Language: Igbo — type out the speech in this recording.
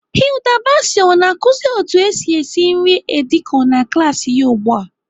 Hilda Baci ọ na-akụzi otu esi esi nri edi kan na klaasị ya ugbu a?